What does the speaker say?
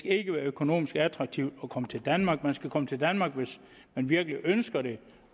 ikke være økonomisk attraktivt at komme til danmark man skal komme til danmark hvis man virkelig ønsker det